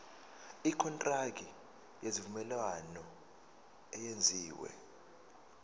ikontraki yesivumelwano eyenziwe